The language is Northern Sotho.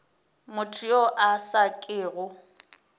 motho yo a sa kego